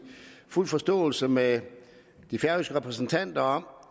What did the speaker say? fuld forståelse med de færøske repræsentanter om